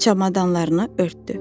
Çamadanlarını örtdü.